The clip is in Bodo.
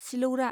सिलौरा